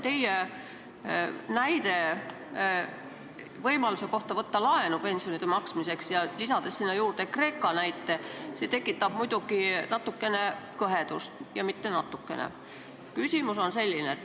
Teie näide võimaluse kohta võtta laenu pensionide maksmiseks, eriti kui lisada sinna Kreeka näite, tekitab muidugi natukene kõhedust – ja mitte natukene.